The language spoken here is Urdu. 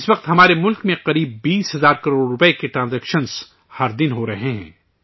اس وقت ہمارے ملک میں تقریباً 20 ہزار کروڑ روپے کے ٹرانزیکشن ہر دن ہو رہے ہیں